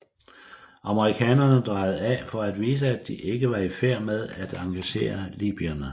Amerikanerne drejede af for at vise at de ikke var i færd med at engagere libyerne